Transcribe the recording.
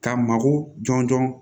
K'a mako jɔnjɔn